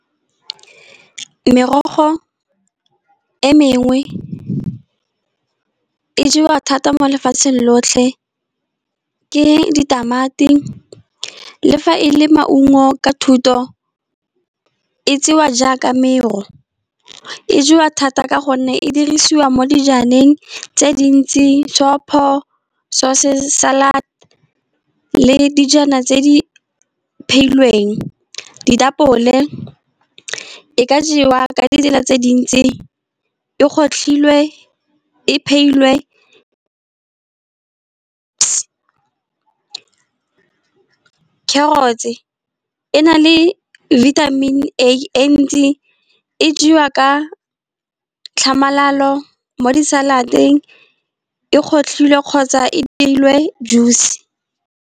Merogo e mengwe e jewa thata mo lefatsheng lotlhe, ke ditamati le fa e le maungo ka thuto, e tsewa jaaka mero. E jewa thata ka gonne e dirisiwa mo dijaneng tse dintsi, sopo, sauces, salad le dijana tse di phehilweng. Ditapole e ka jewa ka ditsela tse dintsi, e gotlhilwe e phehilwe, . Carrots e na le vitamin A e ntsi, e jewa ka tlhamalalo, mo di-salad-eng, e gotlhilwr e kgotsa e dirilwe juice.